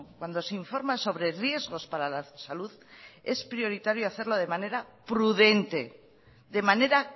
cuando se informa sobre riesgos para la salud es prioritario hacerlo de manera prudente de manera